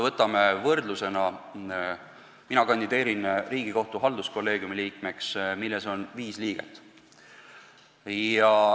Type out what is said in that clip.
Mina kandideerin Riigikohtu halduskolleegiumi liikmeks, milles on viis liiget.